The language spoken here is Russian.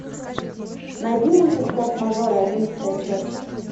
найди мультик форс мажоры одиннадцатая часть